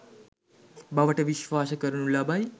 බවට විශ්වාස කරනු ලබයි.